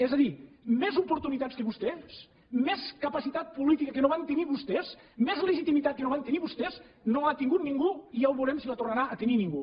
és a dir més oportunitats que vostès més capacitat política que no van tenir vostès més legitimitat que no van tenir vostès no l’ha tingut ningú i ja ho veurem si la tornarà a tenir ningú